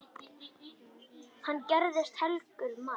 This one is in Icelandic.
Hann gerðist helgur maður.